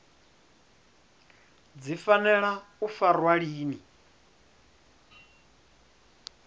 dzi fanela u farwa lini